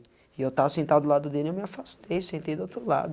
E eu estava sentado do lado dele e eu me afastei, sentei do outro lado.